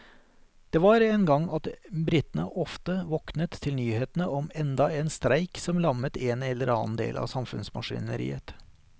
Det var en gang at britene ofte våknet til nyhetene om enda en streik som lammet en eller annen del av samfunnsmaskineriet.